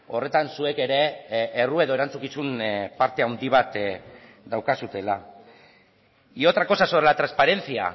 horretan zuek ere erru edo erantzukizun parte handi bat daukazuela y otra cosa sobre la transparencia